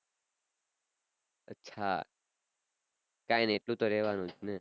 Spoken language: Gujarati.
હા કાઈ નઈ એટલું તો રેવાનું જ ને